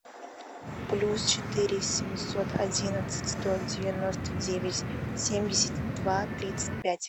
плюс четыре семьсот одиннадцать сто девяносто девять семьдесят два тридцать пять